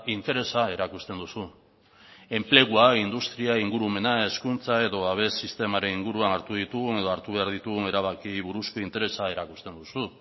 interesa erakusten duzu enplegua industria ingurumena hezkuntza edo babes sistemaren inguruan hartu ditugun edo hartu behar ditugun erabakiei buruzko interesa erakusten duzu